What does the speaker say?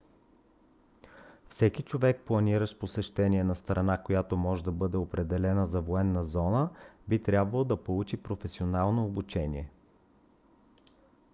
всеки човек планиращ посещение на страна която може да бъде определена за военна зона би трябвало да получи професионално обучение